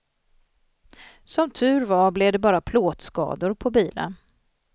Som tur var blev det bara plåtskador på bilen.